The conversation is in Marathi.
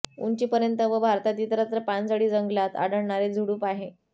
उंचीपर्यंत व भारतात इतरत्र पानझडी जंगलांत आढळणारे झुडुप आहे